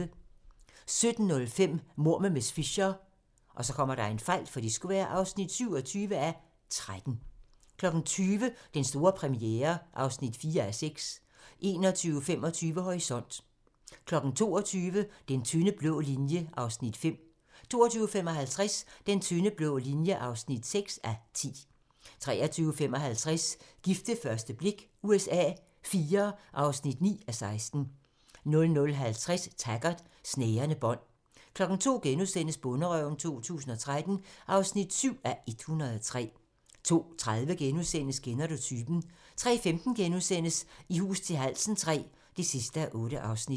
17:05: Mord med miss Fisher (27:13) 20:00: Den store premiere (4:6) 21:25: Horisont (tir) 22:00: Den tynde blå linje (5:10) 22:55: Den tynde blå linje (6:10) 23:55: Gift ved første blik USA IV (9:16) 00:50: Taggart: Snærende bånd 02:00: Bonderøven 2013 (7:103)* 02:30: Kender du typen? * 03:15: I hus til halsen III (8:8)*